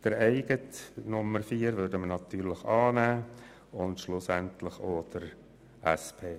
Unsere eigene Planungserklärung 4 nehmen wir natürlich an, schlussendlich auch die Planungserklärung der SP.